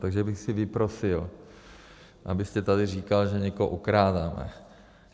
Takže bych si vyprosil, abyste tady říkal, že někoho okrádáme.